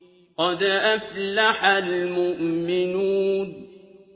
قَدْ أَفْلَحَ الْمُؤْمِنُونَ